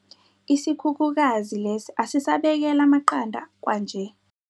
Isikhukhukazi lesi asisabekeli amaqanda kwanje.